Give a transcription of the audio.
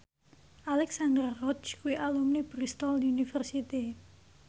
Alexandra Roach kuwi alumni Bristol university